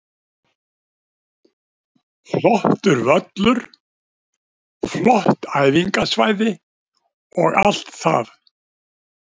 Flottur völlur, flott æfingasvæði og allt það.